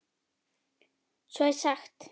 Svo er sagt.